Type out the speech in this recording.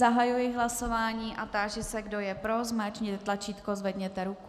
Zahajuji hlasování a táži se, kdo je pro, zmáčkněte tlačítko, zvedněte ruku.